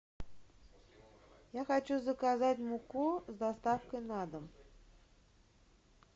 я хочу заказать муку с доставкой на дом